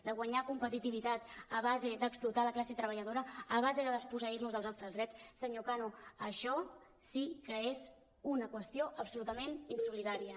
de guanyar competitivitat a base d’explotar la classe treballadora a base de desposseir·nos dels nostres drets senyor cano això sí que és una qüestió absolutament insolidària